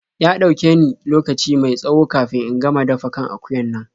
Ya ɗauke ni lokaci mai tsawo kafin in gama dafa kan akuyan nan.